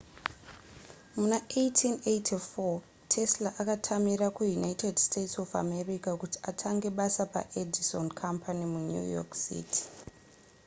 muna 1884 tesla akatamira kuunited states of america kuti atange basa paedison company munew york city